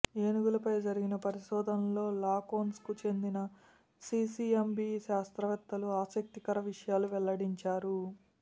ఏనుగులపై జరిపిన పరిశోధనలల్లో లాకోన్స్ కు చెందిన సీసీఎంబీ శాస్త్రవేత్తలు ఆసక్తికర విషయాలు వెల్లడించారు